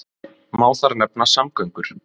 Má þar nefna samgöngur.